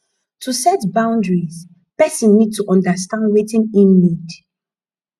to set boundries person need to understand wetin im need